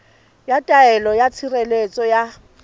ya taelo ya tshireletso ya